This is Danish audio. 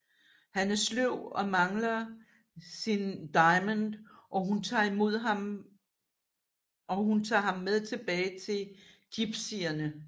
Han er sløv og mangler sin daimon og hun tager ham med tilbage til jypsierne